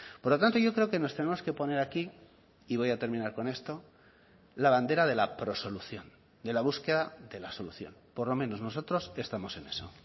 por lo tanto yo creo que nos tenemos que poner aquí y voy a terminar con esto la bandera de la prosolución de la búsqueda de la solución por lo menos nosotros estamos en eso